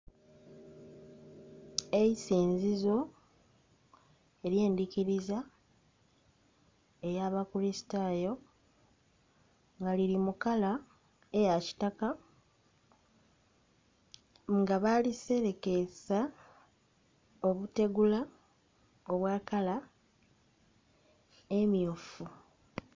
Eisinzizo eryendikiriza eya abakulisitayo nga liri mukala eya kitaka nga baliserekesa obutegula obwa kala emmyufu.